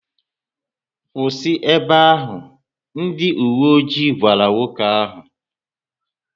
Kwụsị ébé áhù!, ndị uwe ojii gwara nwoke áhù